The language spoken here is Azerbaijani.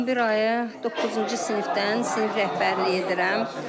11 ayı doqquzuncu sinifdən sinif rəhbərliyi edirəm.